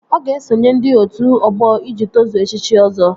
Ọ ga-esonye ndị otu ọgbọ iji tozuo echichi Ọzọ